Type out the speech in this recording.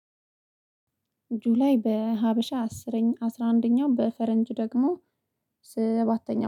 ጁላይ በሀበሻ አስረኛ አስራ አንደኛ በፈረንጅ ደግሞ ስባተኛ